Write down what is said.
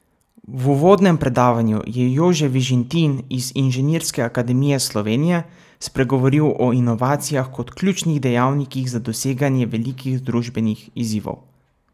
V uvodnem predavanju je Jože Vižintin iz Inženirske akademije Slovenije spregovoril o inovacijah kot ključnih dejavnikih za doseganje velikih družbenih izzivov.